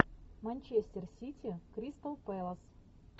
манчестер сити кристал пэлас